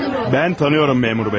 Mən tanıyıram, məmur bəy.